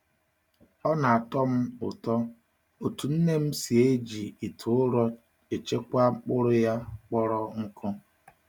Ọ na-atọ m um ụtọ otú nne m si eji ite ụrọ echekwa mkpụrụ ya kpọrọ um nkụ.